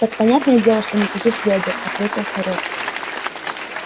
так понятное дело что никаких вёдер ответил хорёк